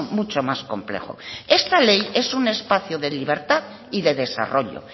mucho más complejo esta ley es un espacio de libertad y de desarrollo